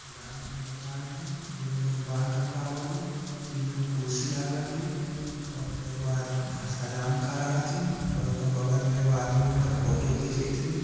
हजाम के दोकान हई जय में लोग बाल कटवावली तीन गो कुर्सी लागल हई और एक गो आदमी हजाम खड़ा हथिन और ऊ का बगल में एगो आदमी उनकर फोटो घींचेती।